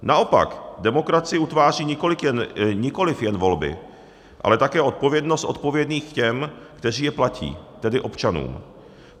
Naopak, demokracii utváří nikoliv jen volby, ale také odpovědnost odpovědných těm, kteří je platí, tedy občanům.